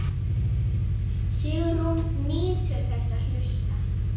Sigrún nýtur þess að hlusta.